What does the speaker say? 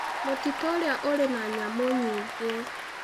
Mũtitũ ũrĩa ũrĩ na nyamũ nyingĩ.